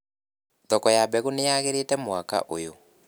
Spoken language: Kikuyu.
Thoko ya mbegũ nĩyagĩrĩte mwaka ũyũ.